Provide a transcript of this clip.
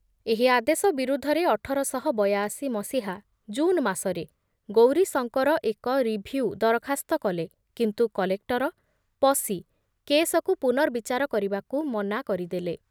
ଏହି ଆଦେଶ ବିରୁଦ୍ଧରେ ଅଠର ଶହ ବୟାଅଶି ମସିହା ଜୁନ ମାସରେ ଗୌରୀଶଙ୍କର ଏକ ରିଭିଉ ଦରଖାସ୍ତ କଲେ, କିନ୍ତୁ କଲେକ୍ଟର ପସି କେସକୁ ପୁନର୍ବିଚାର କରିବାକୁ ମନା କରିଦେଲେ ।